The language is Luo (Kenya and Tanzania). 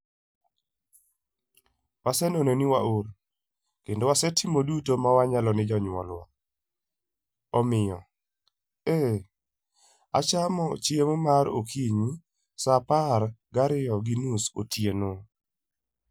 Waseneno ni waol, kendo wasetimo duto mwanyalo ne jonyuolwa, omiyo, ee, achamo chiemo mar okinyi sa apar gariyo gi nus otieno.